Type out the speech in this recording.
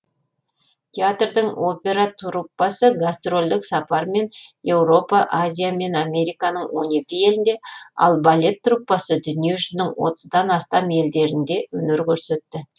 театрдың опера труппасы гастрольдік сапармен еуропа азия мен американың он екі елінде ал балет труппасы дүние жүзінің отыздан астам елдерінде өнер көрсетті